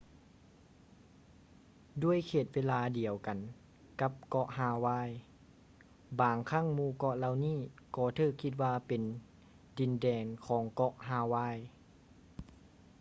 ດ້ວຍເຂດເວລາດຽວກັນກັບເກາະຮາວາຍ ບາງຄັ້ງໝູ່ເກາະເຫຼົ່ານີ້ກໍຖືກຄິດວ່າເປັນ ດິນແດນຂອງເກາະຮາວາຍ